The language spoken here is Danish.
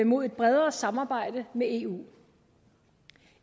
mod et bredere samarbejde med eu